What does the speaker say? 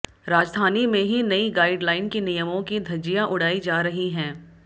राजधानी में ही नई गाइड लाइन के नियमों की धज्जियां उड़ायी जा रही हैं